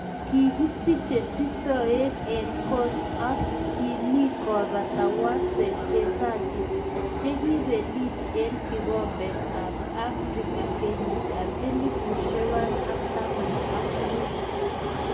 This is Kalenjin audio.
Kikisiche titoek eng coast ak kiimi kobata wachezaji che kiibelis eng kikombet ab afrika 2015